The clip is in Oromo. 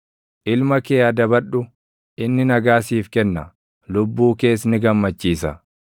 Ilma kee adabadhu, inni nagaa siif kenna; lubbuu kees ni gammachiisa.